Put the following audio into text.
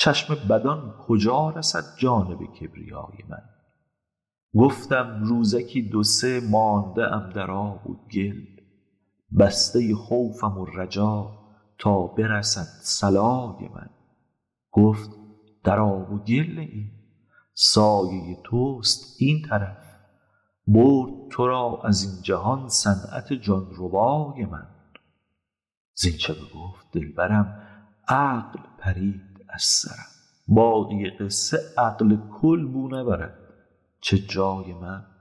چشم بدان کجا رسد جانب کبریای من گفتم روزکی دو سه مانده ام در آب و گل بسته خوفم و رجا تا برسد صلای من گفت در آب و گل نه ای سایه توست این طرف برد تو را از این جهان صنعت جان ربای من زینچ بگفت دلبرم عقل پرید از سرم باقی قصه عقل کل بو نبرد چه جای من